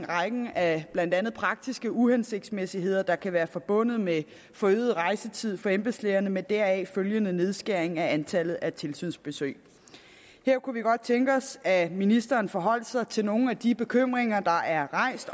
rækken af blandt andet praktiske uhensigtsmæssigheder der kan være forbundet med forøget rejsetid for embedslægerne med deraf følgende nedskæring af antallet af tilsynsbesøg her kunne vi godt tænke os at ministeren forholdt sig til nogle af de bekymringer der er rejst